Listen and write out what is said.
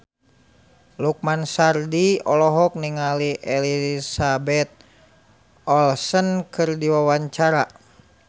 Lukman Sardi olohok ningali Elizabeth Olsen keur diwawancara